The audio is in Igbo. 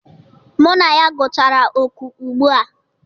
Mụ na ya gụchara oku ugbu a.